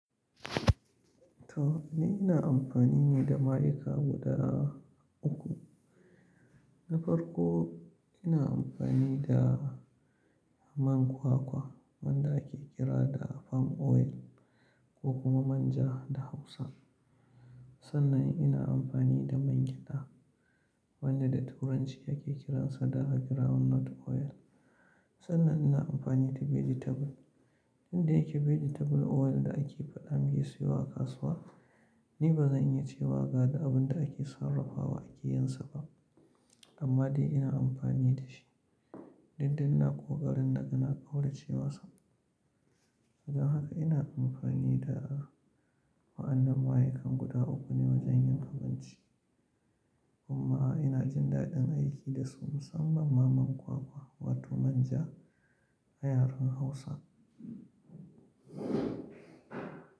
To, ni ina amfani ne da ma'aikata guda uku. Na farko ina amfani da man kwakwa wanda ake kira da palm oil ko kuma manja da Hausa. Sannan ina amfani da man gyada wanda da Turanci ake kiransa da groundnut oil. Sannan ina amfani da vegetable. Inda yake vegetable oil da ake faɗa an iya siyo a kasuwa, ni ba zan iya cewa gade abin da ake sarrafa wa ake yinsa ba. Amma dai ina amfani da shi, dukda ina ƙoƙarin da ina ɓaura cewa sam. Don haka ina amfani da wa'annan ma'aika guda uku ne wajen yin abinci. Amma ina jin daɗin aiki da su musamman ma man kwakwa wato manja a yaren Hausa.